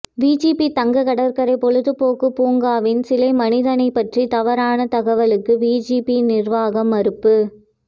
VGP தங்கக் கடற்கரை பொழுதுபோக்கு பூங்காவின் சிலை மனிதனைப் பற்றிய தவறான தகவலுக்கு விஜிபி நிர்வாகம் மறுப்பு